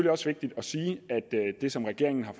også vigtigt at sige at det som regeringen har